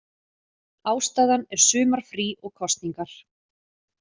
Ástæðan er sumarfrí og kosningar